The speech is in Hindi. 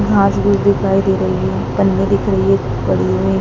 घास फूस दिखाई दे रही है ।